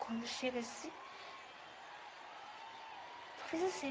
Quando chega assim... Só fiz assim.